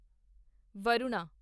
Varuna